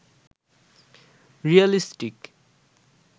realistic